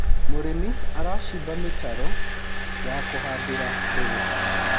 mũrĩmi aracimba mitaro ya kuhandira mbegũ